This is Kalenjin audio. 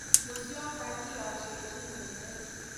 Musyoka, kiyashiechin "eng leet".